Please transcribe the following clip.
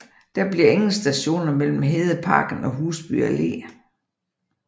Der bliver ingen stationer mellem Hedeparken og Husby Allé